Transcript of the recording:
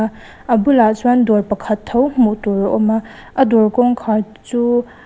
a bulah chuan dawr pakhat tho hmuh tur a awm a a dawr kawngkhar chu--